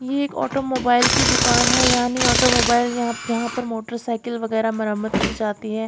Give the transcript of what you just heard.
ये एक ऑटोमोबाइल की दुकान है यानी ऑटोमोबाइल यहां जहां पर मोटरसाइकिल वगैरह मरम्मत की जाती है।